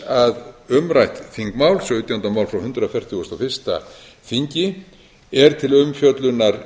að umrætt þingmál sautjánda mál frá hundrað fertugasta og fyrsta þingi er til umfjöllunar